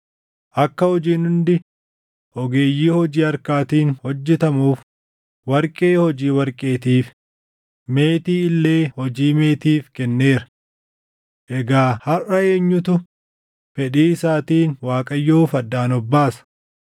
akka hojiin hundi ogeeyyii hojii harkaatiin hojjetamuuf warqee hojii warqeetiif, meetii illee hojii meetiif kenneera. Egaa harʼa eenyutu fedhii isaatiin Waaqayyoof addaan of baasa?”